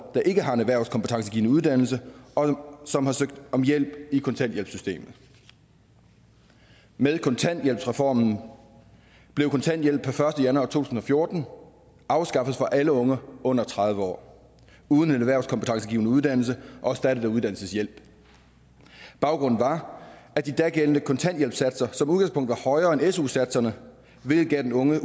der ikke har en erhvervskompetencegivende uddannelse og som har søgt om hjælp i kontanthjælpssystemet med kontanthjælpsreformen blev kontanthjælp per første januar to tusind og fjorten afskaffet for alle unge under tredive år uden en erhvervskompetencegivende uddannelse og erstattet af uddannelseshjælp baggrunden var at de dagældende kontanthjælpssatser som udgangspunkt var højere end su satserne hvilket gav den unge